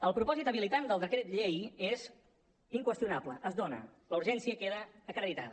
el propòsit habilitant del decret llei és inqüestionable es dona la urgència queda acreditada